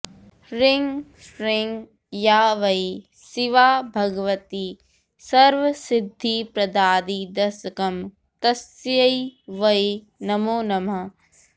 ह्रीं श्रीं या वै शिवा भगवती सर्वसिद्धिप्रदादिदशकं तस्यै वै नमो नमः